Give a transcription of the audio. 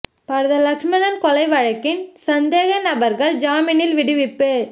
பரத லக்ஷ்மன் கொலை வழக்கின் சந்தேக நபர்கள் ஜாமீனில் விடுவிப்பு